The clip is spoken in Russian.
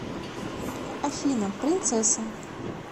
афина принцесса